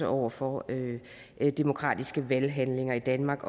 over for demokratiske valghandlinger i danmark